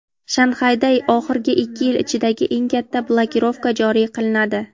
Shanxayda oxirgi ikki yil ichidagi eng katta blokirovka joriy qilinadi.